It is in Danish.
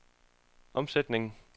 omsætning